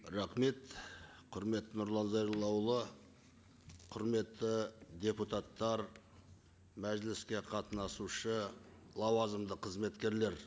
рахмет құрметті нұрлан зайроллаұлы құрметті депутаттар мәжіліске қатынасушы лауазымды қызметкерлер